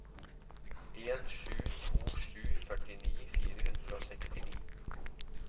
en sju to sju førtini fire hundre og sekstini